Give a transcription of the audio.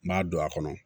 N b'a don a kɔnɔ